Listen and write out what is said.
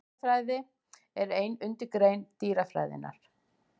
Fuglafræði er ein undirgrein dýrafræðinnar.